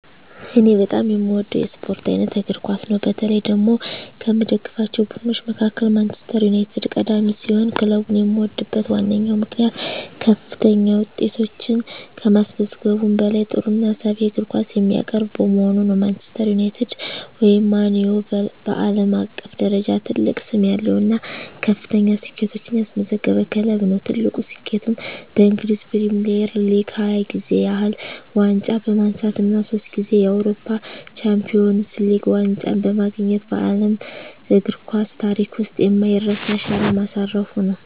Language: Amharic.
እኔ በጣም የምወደው የስፖርት አይነት እግር ኳስ ነው። በተለይ ደግሞ ከምደግፋቸው ቡድኖች መካከል ማንቸስተር ዩናይትድ ቀዳሚ ሲሆን፣ ክለቡን የምወድበት ዋነኛው ምክንያት ከፍተኛ ውጤቶችን ከማስመዝገቡም በላይ ጥሩና ሳቢ የእግር ኳስ የሚያቀርብ በመሆኑ ነው። ማንቸስተር ዩናይትድ (ማን ዩ) በዓለም አቀፍ ደረጃ ትልቅ ስም ያለው እና ከፍተኛ ስኬቶችን ያስመዘገበ ክለብ ነው። ትልቁ ስኬቱም በእንግሊዝ ፕሪሚየር ሊግ 20 ጊዜ ያህል ዋንጫ በማንሳት እና ሶስት ጊዜ የአውሮፓ ቻምፒየንስ ሊግ ዋንጫን በማግኘት በዓለም እግር ኳስ ታሪክ ውስጥ የማይረሳ አሻራ ማሳረፉ ነው።